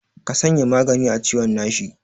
Ka sanya magani a ciwon nashi.